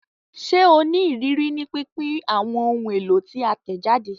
Ṣe o ni iriri ni pinpin awọn ohun elo ti a tẹjade?